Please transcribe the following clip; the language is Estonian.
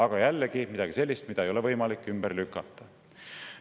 Aga jällegi midagi sellist, mida ei ole võimalik ümber lükata.